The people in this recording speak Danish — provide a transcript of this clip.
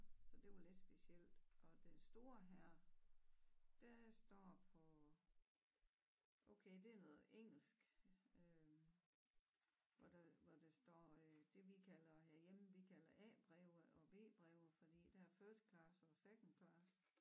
Så det jo lidt specielt og det store her det står på okay det noget engelsk øh hvor der hvor der står øh det vi kalder herhjemme vi kalder A breve og B breve fordi der er first class og second class